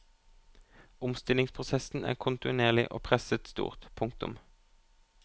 Omstillingsprosessen er kontinuerlig og presset stort. punktum